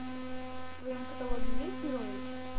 в твоем каталоге есть герои